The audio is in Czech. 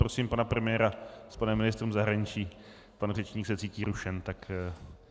Prosím pana premiéra s panem ministrem zahraničí, pan řečník se cítí rušen, tak prosím.